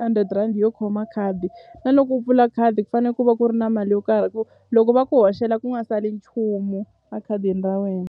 hundred rand yo khoma khadi na loko u pfula khadi ku fane ku va ku ri na mali yo karhi hi ku loko va ku hoxela ku nga sali nchumu a khadini ra wena.